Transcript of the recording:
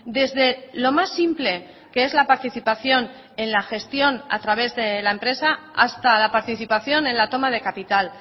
desde lo más simple que es la participación en la gestión a través de la empresa hasta la participación en la toma de capital